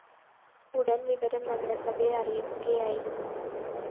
ഉടന്‍ വിവരം നഗരസഭയെ അറിയിക്കുകയായിരുന്നു